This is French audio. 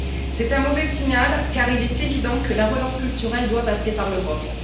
C'est un mauvais signal car il est évident que la relance culturelle doit passer par l'Europe.